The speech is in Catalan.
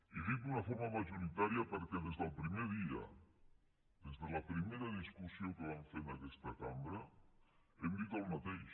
i dic d’una forma majoritària perquè des del primer dia des de la primera discussió que vam fer en aquesta cambra hem dit el mateix